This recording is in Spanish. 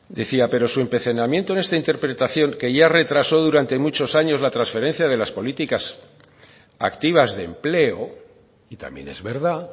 decía pero su empecinamiento en esta interpretación que ya retrasó durante muchos años la transferencia de las políticas activas de empleo y también es verdad